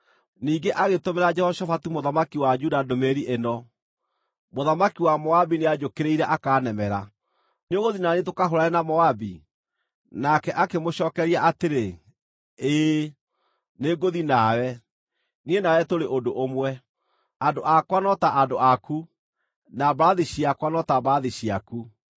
Ningĩ agĩtũmĩra Jehoshafatu mũthamaki wa Juda ndũmĩrĩri ĩno: “Mũthamaki wa Moabi nĩanjũkĩrĩire akanemera. Nĩũgũthiĩ na niĩ tũkahũũrane na Moabi?” Nake akĩmũcookeria atĩrĩ, “Ĩĩ, nĩngũthiĩ nawe, niĩ nawe tũrĩ ũndũ ũmwe, andũ akwa no ta andũ aku, na mbarathi ciakwa no ta mbarathi ciaku.”